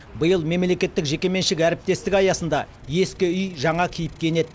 биыл мемлекеттік жекеменшік әріптестік аясында ескі үй жаңа кейіпке енеді